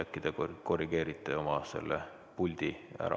Äkki te korrigeerite oma puldi ära.